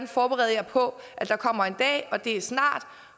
forberede jer på at der kommer en dag og det er snart